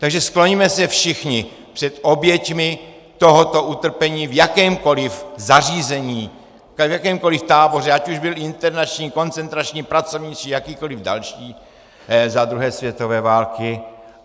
Takže skloňme se všichni před oběťmi tohoto utrpení v jakémkoliv zařízení, v jakémkoliv táboře, ať už byl internační, koncentrační, pracovní či jakýkoliv další za druhé světové války.